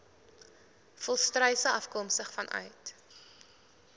volstruise afkomstig vanuit